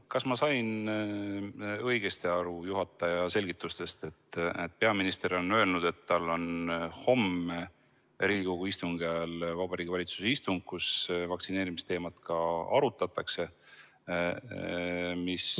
Kas ma sain õigesti aru juhataja selgitustest, et peaminister on öelnud, et tal on homme Riigikogu istungi ajal Vabariigi Valitsuse istung, kus ka vaktsineerimisteemat arutatakse?